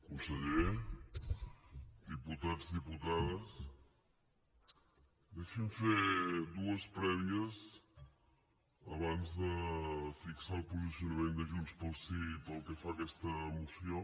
conseller diputats diputades deixin me fer dues prèvies abans de fixar el posicionament de junts pel sí pel que fa a aquesta moció